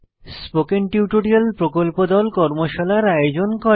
spoken tutorial প্রকল্প দল কর্মশালার আয়োজন করে